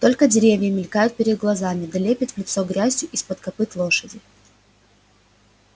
только деревья мелькают перед глазами да лепит в лицо грязью из-под копыт лошади